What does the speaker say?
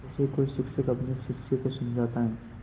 जैसे कोई शिक्षक अपने शिष्य को समझाता है